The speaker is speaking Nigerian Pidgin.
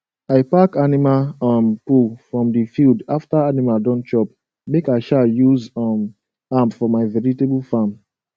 i pack animal um poo from the field after animal don chop make i um use um am for my vegetable farm